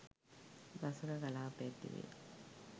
දසක කලාප ඇතිවේ.